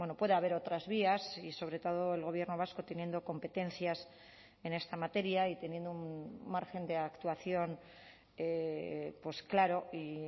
puede haber otras vías y sobre todo el gobierno vasco teniendo competencias en esta materia y teniendo un margen de actuación claro y